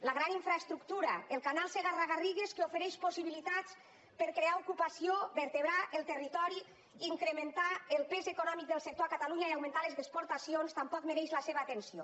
la gran infraestructura el canal segarra garrigues que ofereix possibilitats per crear ocupació vertebrar el territori incrementar el pes econòmic del sector a catalunya i augmentar les exportacions tampoc mereix la seva atenció